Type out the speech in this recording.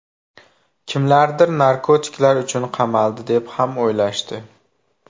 Kimlardir narkotiklar uchun qamaldi, deb ham o‘ylashdi.